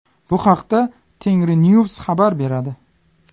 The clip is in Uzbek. Bu haqda Tengrinews xabar beradi .